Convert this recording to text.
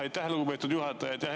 Aitäh, lugupeetud juhataja!